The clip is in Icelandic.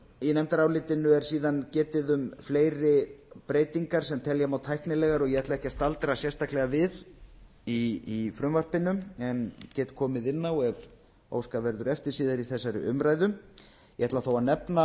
í nefndarálitinu er síðan getið um fleiri breytingar sem telja má tæknilegar og ég ætla ekki að staldra sérstaklega við í frumvarpinu en get komið inn á ef óskað verður eftir síðar í þessar umræðu ég ætla þó